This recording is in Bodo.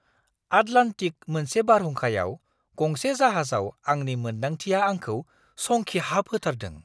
आटलान्टिक मोनसे बारहुंखायाव गंसे जाहाजाव आंनि मोन्दांथिआआंखौ संखिहाबहोथारदों।